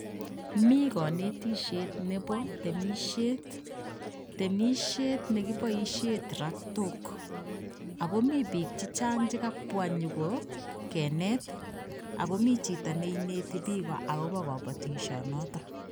Mikanetisiet nebo temisiet. Temisiet negiboisien traktok. Ago mi bik chechang chekabwa nyogo kenet ako michito ne inete bik agobo kabatisionoto